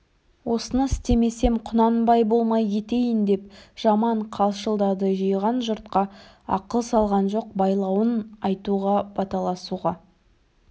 осыны істемесем құнанбай болмай кетейін деп жаман қалшылдады жиған жұртқа ақыл салған жоқ байлауын айтуға баталасуға